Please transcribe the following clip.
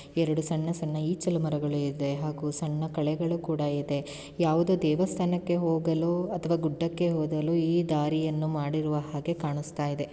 ಎರಡು ಸಣ್ಣ-ಸಣ್ಣ ಈಚಲು ಮರಗಳು ಇದೆ ಹಾಗು ಸಣ್ಣ ಕಳೆಗಳು ಕೂಡ ಇದೆ. ಯಾವುದೊ ದೇವಸ್ಥಾನಕ್ಕೆ ಹೋಗಲು ಅಥವಾ ಗುಡ್ಡಕ್ಕೆ ಹೋಗಲು ಈ ದಾರಿಯನ್ನು ಮಾಡಿರುವ ಹಾಗೆ ಕಾಣಸ್ತಾಯಿದೆ.